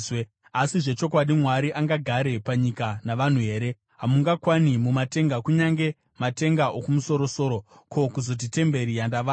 “Asi zvechokwadi, Mwari angagare panyika navanhu here? Hamungakwani mumatenga kunyange matenga okumusoro-soro, ko, kuzoti temberi yandavaka!